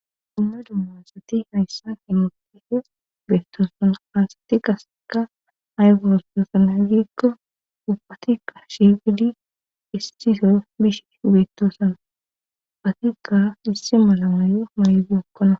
Hinna dummasati hayssa hemotihes beettoosana aasati gaseka aygostoosan a gikko upatikka shigidi istiso bish beettoosan uphatikka issi malamaayo maybeokkona.